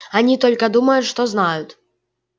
они только думают что знают